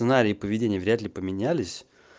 сценарий и поведение вряд ли поменялись